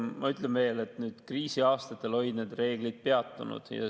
Ma ütlen veel kord, et kriisiaastatel olid need reegleid peatunud.